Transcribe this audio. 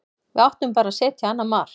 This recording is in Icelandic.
Við áttum bara að setja annað mark.